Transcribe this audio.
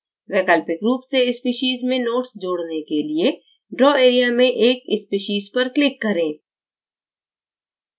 वैकल्पिक रूप से species में notes जोड़ने के लिये draw area में एक species पर click करें